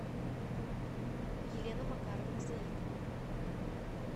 елена макаровна заика